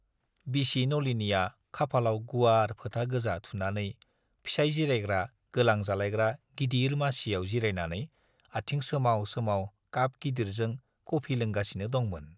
बिसि नलिनीया खाफालाव गुवार फोथा गोजा थुनानै फिसाइ जिरायग्रा गोलां जालायग्रा गिदिर मासियाव जिरायनानै आथिं सोमाव सोमाव काप गिदिरजों कफि लोंगासिनो दंमोन।